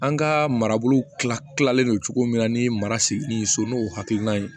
An ka marabolo tila kilalen don cogo min na ni mara sigi ni so n'o hakilina ye